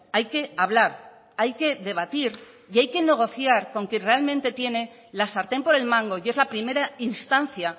hay que hablar hay que debatir y hay que negociar con quien realmente tiene la sartén por el mango y es la primera instancia